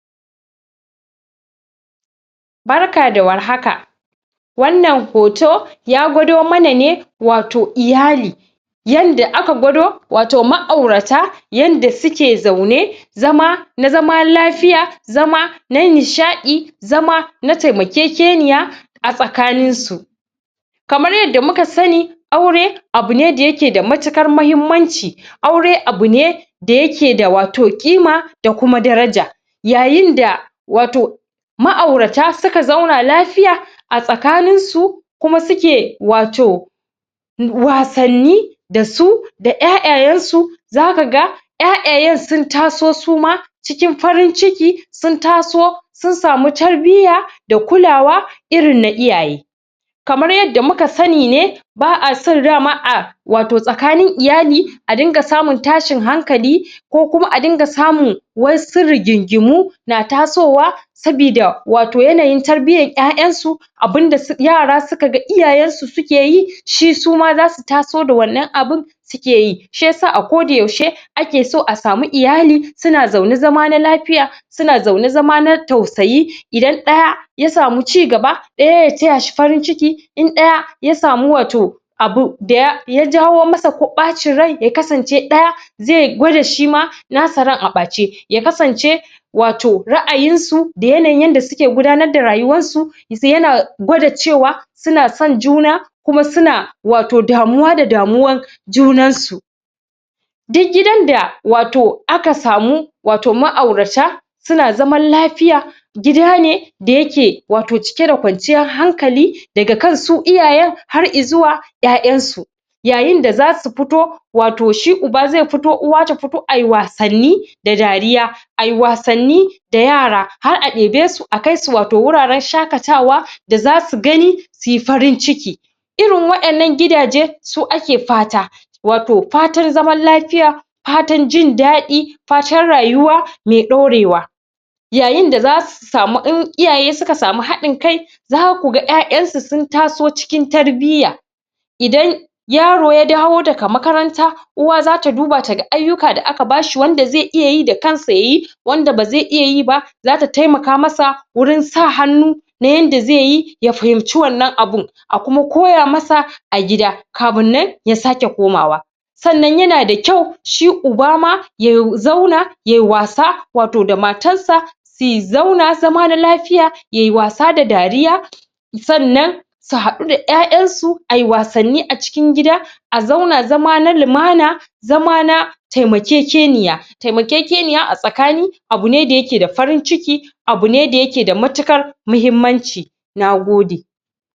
Barka da warhaka wannan hoto ya gwado mana ne wato iyali yadda aka gwado wato ma'aurata yadda suke zaune zama na zama lafiya zaman na nishaɗi zama na taimakekeniya a tsakanin su. Kamar yadda muka sani aure abune dayake da matuƙar mahimmanci aure abu ne da yake da wato ƙima da kuma daraja yayin da wato ma'aurata suka zauna lafiya a tsakanin su kuma suke wato wasanni da su da 'ya'yayan su zaka ga 'ya'yayan sun taso suma cikin farin ciki sun taso sun samu tarbiya da kulawa irin na iyaye. Kamar yadda muka sani ne ba'a son rama a wato tsakanin iyali a dunga samun tashin hankali ko kuma a dunga samun wasu rigingimu na tasowa sabida wato yanayin tarbiyar 'ya'yansu abunda su um yara suka ga iyayen su suke yi, shi suma zasu taso da wannan abun suke yi shiyasa a koda yaushe ake so a samu iyali, suna zaune zama na lafiya suna zaune zaman na tausayi, idan ɗaya ya samu cigaba ɗaya ya taya shi farin ciki in ɗaya ya samu wato abu daya jawo masa ko ɓacin rai, ya kasance ɗaya zai gwada shima nasa ran a ɓace ya kasance wato ra'ayin su da yanayin yadda suke gudanar da rayuwar su za iya gwada cewa suna son juna kuma suna wato damuwa da damuwar junan su duk gidan da wato aka samu wato ma'aurata suna zaman lafiya gida ne da yake wato cike da kwanciyar hankali, daga kan su iyayen har izuwa 'ya'yansu yayin da zasu fito wato shi uba zai fito, uwa ta fito ai wasanni da dariya ai wasanni da yara har a ɗebe su akai wato wuraren shaƙatawa da zasu gani su farin ciki irin wa'yannan gidage su ake fata wato fatan zaman lafiya fatan jin daɗi fatan rayuwa mai ɗorewa yayin da zasu mu, in iyaye suka samu haɗin kai zaka ga 'ya'yansu sun taso cikin tarbiya idan idan yaro ya dawo daga makaranta uwa zata duba taga ayyuka da aka bashi, wanda zai iya yi da kansa yayi wanda ba zai iya yi ba zata taimaka masa wurin sa hannu na yadda zaiyi ya fahimci wannan abun a kuma koya masa a gida kafin nan ya sake komawa sannan yana da kyau, shi uba ma yaw zauna yayi wasa wato da matar sa zi zauna zama na lafiya, yayi wasa da dariya sannan su haɗu da 'ya'yansu ai wasanni a cikin gida a zauna zama na lumana zama na taimakekeniya taimakekeniya a tsakani abu ne da yake da farin ciki abu ne da yake da matuƙar mahimmanci. Nagode.